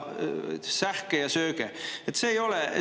Sähke ja sööge!